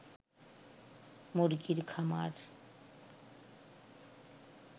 মুরগির খামার